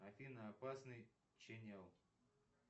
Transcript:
афина опасный ченел